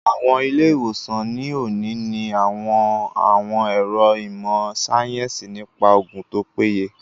Àwọn ilé-ìwòsàn ní òní ní àwọn àwọn ẹ̀ro ìmọ̀ síáyẹ́nsì nípa oògùn tó péye